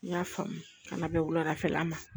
N y'a faamu kana bɛn wuladafɛla ma